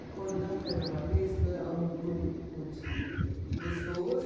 O cordão carnavalesco é um grupo de de pessoas